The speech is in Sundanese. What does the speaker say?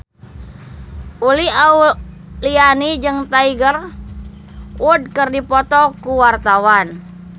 Uli Auliani jeung Tiger Wood keur dipoto ku wartawan